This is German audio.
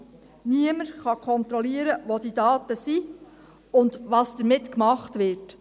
Niemand kann kontrollieren, wo die Daten sind und was damit gemacht wird.